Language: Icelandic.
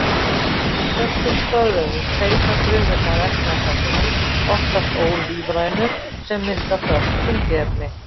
Í föstum stoðvefjum seyta frumurnar efnasamböndum, oftast ólífrænum, sem mynda föst tengiefni.